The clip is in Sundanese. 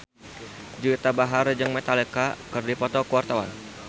Juwita Bahar jeung Metallica keur dipoto ku wartawan